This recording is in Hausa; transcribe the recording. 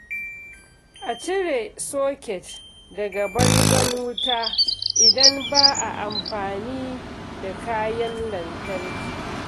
A cire soket daga bangon wuta idan ba a amfani da kayan lantarki.